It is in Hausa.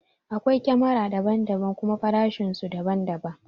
Akwai kamara daban daban kuma farashin su daban daban